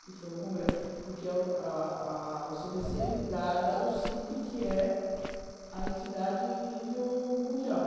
que foi um congre, porque a a o cê bê cê é ligado ao Cip, que é a entidade em nível mundial.